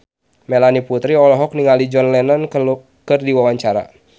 Melanie Putri olohok ningali John Lennon keur diwawancara